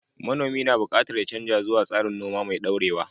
Manomi na buƙatar ya canza zuwa tsarin noma mai dorewa.